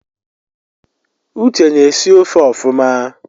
Uche na-esi ofe ọfụma